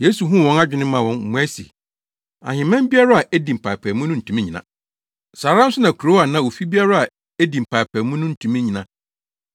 Yesu huu wɔn adwene maa wɔn mmuae se, “Ahemman biara a edi mpaapaemu no ntumi nnyina. Saa ara nso na kurow anaa ofi biara a edi mpaapaemu no ntumi nnyina.